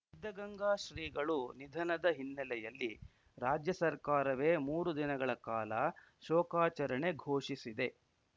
ಸಿದ್ಧಗಂಗಾ ಶ್ರೀಗಳು ನಿಧನದ ಹಿನ್ನೆಲೆಯಲ್ಲಿ ರಾಜ್ಯ ಸರ್ಕಾರವೇ ಮೂರು ದಿನಗಳ ಕಾಲ ಶೋಕಾಚರಣೆ ಘೋಷಿಸಿದೆ